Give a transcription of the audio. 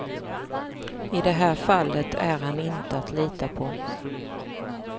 I det här fallet är han inte att lita på.